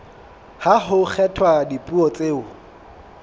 ha ho kgethwa dipuo tseo